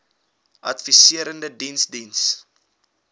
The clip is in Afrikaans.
adviserende diens diens